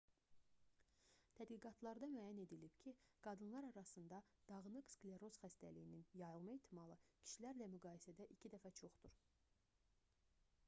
tədqiqatlarda müəyyən edilib ki qadınlar arasında dağınıq skleroz xəstəliyinin yayılma ehtimalı kişilərlə müqayisədə iki dəfə çoxdur